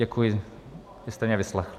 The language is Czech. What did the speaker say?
Děkuji, že jste mě vyslechli.